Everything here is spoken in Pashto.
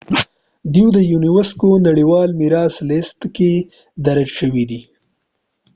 دوی د يونيسکو نړیوال میراث لیست کې درج شويدي